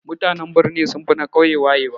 Mutanen birni sunfi na ƙauye wayewa